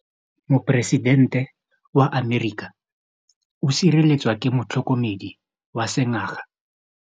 Poresitêntê wa Amerika o sireletswa ke motlhokomedi wa sengaga.